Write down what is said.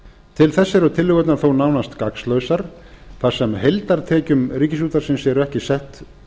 til þess eru tillögurnar þó nánast gagnslausar þar sem heildartekjum ríkisútvarpsins eru ekki sett